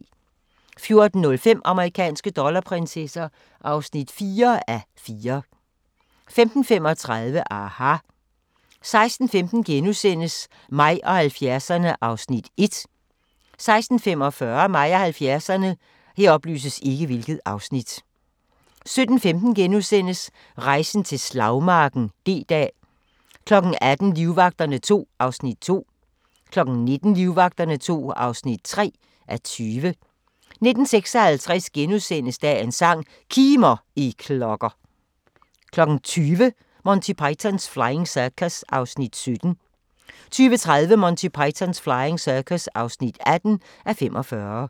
14:05: Amerikanske dollarprinsesser (4:4) 15:35: aHA! 16:15: Mig og 70'erne (1:4)* 16:45: Mig og 70'erne 17:15: Rejsen til slagmarken: D-dag * 18:00: Livvagterne II (2:20) 19:00: Livvagterne II (3:20) 19:56: Dagens sang: Kimer, I klokker * 20:00: Monty Python's Flying Circus (17:45) 20:30: Monty Python's Flying Circus (18:45)